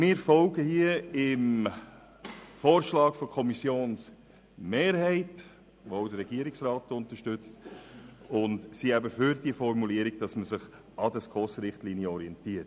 Wir folgen hier also dem Vorschlag der Kommissionsmehrheit, den auch der Regierungsrat unterstützt, und sind eben für die Formulierung, wonach man sich an den SKOS-Richtlinien «orientiert».